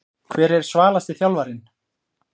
Hver er svalasti þjálfarinn?